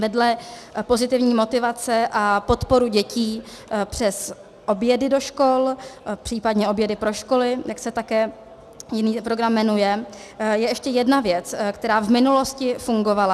Vedle pozitivní motivace a podporu dětí přes obědy do škol, případně obědy pro školy, jak se také jiný program jmenuje, je ještě jedna věc, která v minulosti fungovala.